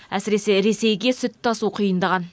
әсіресе ресейге сүт тасу қиындаған